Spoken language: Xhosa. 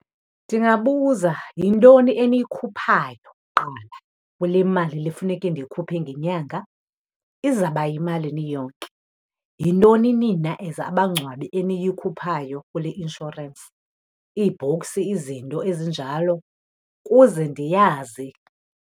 Ndingabuza, yintoni eniyikhuphayo kuqala kule mali le funeke ndiyikhuphe ngenyanga? Izaba yimalini iyonke? Yintoni nina as abangcwabi eniyikhuphayo kule inshorensi? Ii-box, izinto ezinjalo, kuze ndiyazi.